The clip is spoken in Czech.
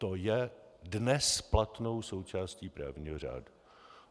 To je dnes platnou součástí právního řádu.